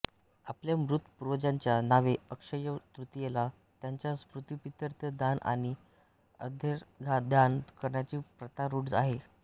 आपल्या मृत पूर्वाजांच्या नावे अक्षय्य तृतीयेला त्यांच्या स्मृतिप्रीत्यर्थ दान आणि अर्घ्यदान करण्याची प्रथा रूढ आहे